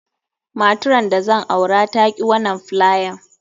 Matran da zan aura ta ki wanan filayan.